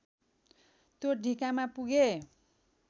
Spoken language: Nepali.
त्यो ढिकामा पुगे